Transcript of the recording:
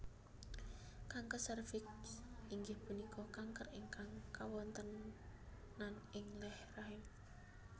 Kanker sèrviks inggih punika kanker ingkang kawontenan ing leher rahim